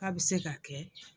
K 'a bɛ se ka kɛ.